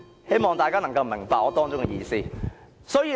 希望大家能夠明白我的意思。